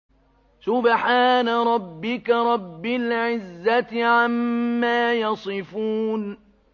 سُبْحَانَ رَبِّكَ رَبِّ الْعِزَّةِ عَمَّا يَصِفُونَ